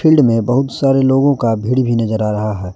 Field में बहुत सारे लोगों का भीड़ भी नजर आ रहा है।